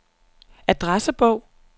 adressebog